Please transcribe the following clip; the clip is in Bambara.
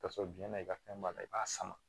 K'a sɔrɔ jiyɛn na i ka fɛn b'a la i b'a sama